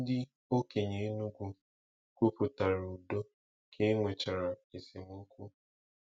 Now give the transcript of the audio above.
Ndị okenye Enugwu kwuputara udo ka e nwechara esemokwu.